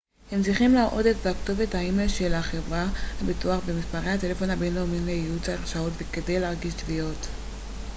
הם צריכים להראות את כתובת האימייל של חברת הביטוח ומספרי הטלפון הבינלאומיים לייעוץ/הרשאות וכדי להגיש תביעות